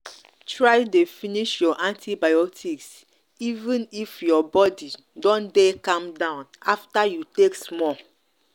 try dey finish your antibiotics even if your body don dey calm down after you take small.